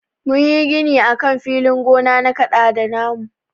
Mun yi gini akan filin gona na kaɗada na mu.